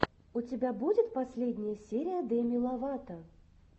у тебя будет последняя серия деми ловато